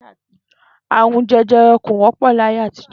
Àrùn je̩je̩re̩ kò wó̩pò̩ láyé àtijó̩